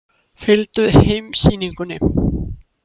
Fylgdu heimssýningunni.